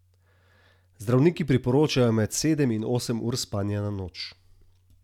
Zdravniki priporočajo med sedem in osem ur spanja na noč.